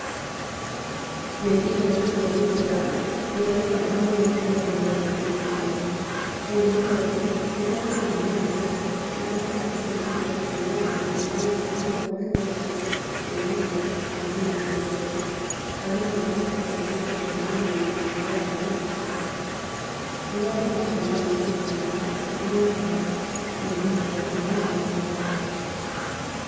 Mĩbira ya kũĩgitĩra nĩrĩ bata mũno kũrĩ andũ a rũrĩrĩ rwitũ. Ũũ nĩ tondũ rĩrĩa andũ mamĩhũthĩra, nĩmahotaga kũĩgitĩra kumana na mĩrimũ ĩrĩa andũ magwatanagia kumana na kuonana kĩmwĩrĩ. Andũ nĩ mahotaga kũĩgitĩra kumana na mũrimũ wa mũkingo. Rĩrĩa andũ matũmĩra mĩbira ĩno nĩmahotaga kũĩgitĩra kumana na kũgĩa nda.